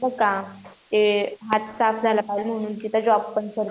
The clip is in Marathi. हात साफ झाला पाहिजे म्हणून तिथं जोबपण करते